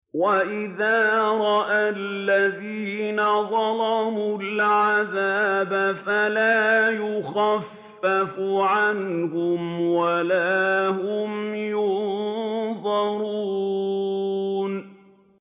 وَإِذَا رَأَى الَّذِينَ ظَلَمُوا الْعَذَابَ فَلَا يُخَفَّفُ عَنْهُمْ وَلَا هُمْ يُنظَرُونَ